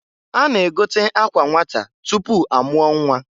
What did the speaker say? A na-egote akwa nnwata tupu amụọ nnwa.